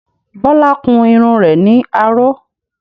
Bọlá kun irun rẹ̀ ní aró